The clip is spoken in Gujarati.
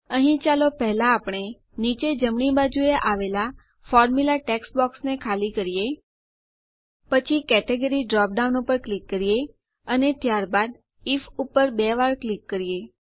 અહીં ચાલો પહેલા આપણે નીચે જમણી બાજુએ આવેલ ફોર્મ્યુલા ટેક્સ્ટ બોક્સને ખાલી કરીએ પછી કેટેગરી ડ્રોપડાઉન ઉપર ક્લિક કરો અને ત્યારબાદ આઇએફ ઉપર બે વાર ક્લિક કરો